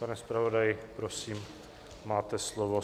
Pane zpravodaji, prosím, máte slovo.